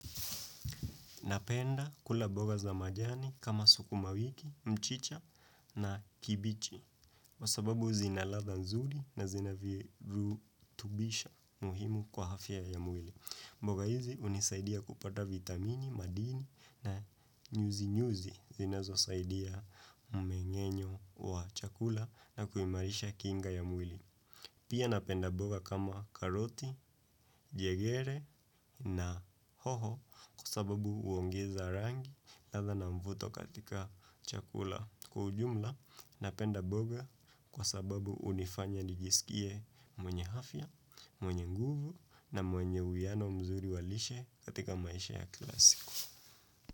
Napenda kula mboga za majani kama sukuma wiki, mchicha na kibichi. Kwa sababu zina ladha nzuri na zina virutubisho muhimu kwa afya ya mwili. Mboga hizi hunisaidia kupata vitamini, madini na nyuzi nyuzi zinazo saidia umengenyo wa chakula na kuimarisha kinga ya mwili. Pia napenda mboga kama karoti, jegere na hoho kwa sababu huongeza rangi ladha na mvuto katika chakula. Kwa ujumla, napenda mboga kwa sababu hunifanya nijisikie mwenye afya, mwenye nguvu na mwenye uwiano mzuri walishe katika maisha ya kila siku.